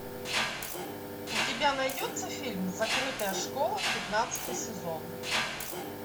у тебя найдется фильм закрытая школа пятнадцатый сезон